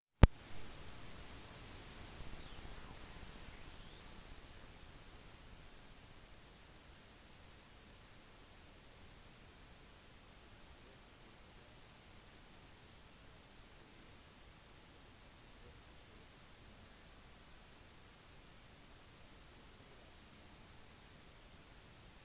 det finnes mange ulike filmformater som har blitt brukt i løpet av årene. den vanligste er standard 35 mm-film 36 med 24 mm negativ